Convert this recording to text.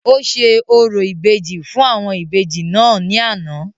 ó ṣe orò ìbejì fún àwọn Ìbejì náà ní àná